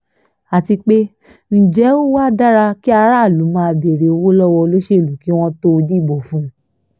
àti pé ǹjẹ́ ó wáá dára kí aráàlú máa béèrè owó lọ́wọ́ olóṣèlú kí wọ́n tóó dìbò fún un